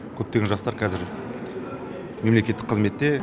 көптеген жастар қазір мемлекеттік қызметте